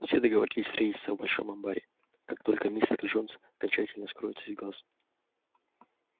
все договорились встретиться в большом амбаре как только мистер джонс окончательно скроется из глаз